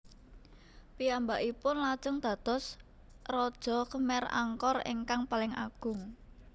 Piyambakipun lajeng dados raja Khmer Angkor ingkang paling agung